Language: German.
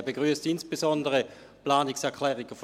Er begrüsst insbesondere die Planungserklärungen der SAK.